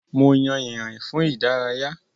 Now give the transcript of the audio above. Mo yàn ìrìn fún ìdárayá.